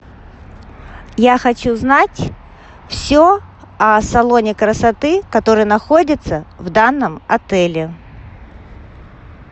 я хочу знать все о салоне красоты который находится в данном отеле